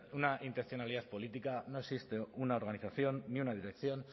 una intencionalidad política no existe una organización ni una dirección